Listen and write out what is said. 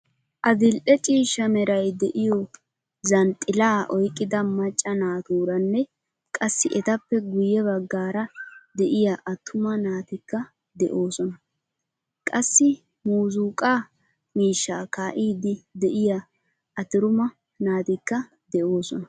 Adil'e ciishshaa Meray de'iyo zhanxxila oyqqida macca naaturaanne qassi etappe guye baggaara deiyaa attumaa naatikka deosona. Qassi muuzzuqqa miishsha kaidi deiya atruma naatikka deosona..